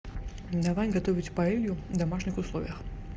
давай готовить паэлью в домашних условиях